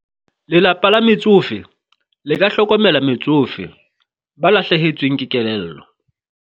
lelapa la metsofe le ka hlokomela metsofe ba lahlehetsweng ke kelello.